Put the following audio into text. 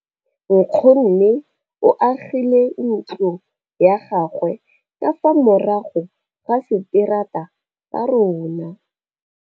Nkgonne o agile ntlo ya gagwe ka fa morago ga seterata sa rona.